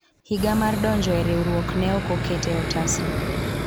higa mar donjro e riwruok ne ok oketi e otasno